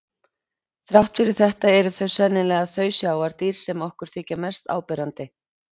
Þrátt fyrir þetta eru þau sennilega þau sjávardýr sem okkur þykja mest áberandi.